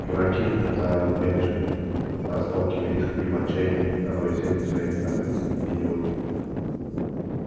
дураки заорал бенджамин расталкивая их и в отчаянии роя землю своими копытцами идиоты